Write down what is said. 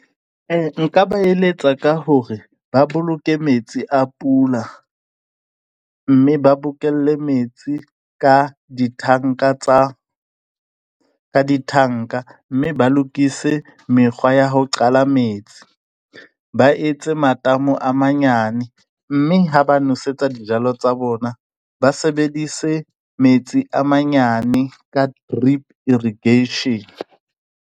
E nka ba eletsa ka hore ba boloke metsi a pula mme ba bokelle metsi ka ditanka tsa ditanka mme ba lokise mekgwa ya ho qala metsi. Ba etse matamo a manyane, mme ha ba nosetsa dijalo tsa bona ba sebedise metsi a manyane ka drip irrigation.